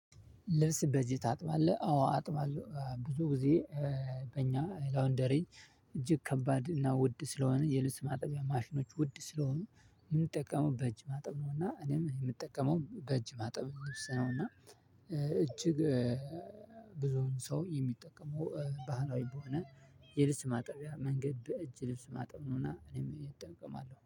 ልብስ በዚህ ታጥባለህ አዎ አጥባለሁ ብዙ ጊዜ። በእኛ ላውንደሪ እጅግ ከባድ እና ውድ ስለሆነ የልብስ ማጠቢያ ማሽኖች ውድ ስለሆኑ የምጠቀመው በእጅ ማጠብ ነው። እና እኔም የምጠቀመው በእጅ ማጠብ ልብስ ነው። እና እጅግ ብዙውን ሰው የሚጠቀመው ባህላዊ በሆነ የልብስ ማጠቢያ መንገድ በእጅ ልብስ ማጠብ ነውና እኔም እጠቀማለሁ